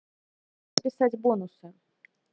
списать бонусы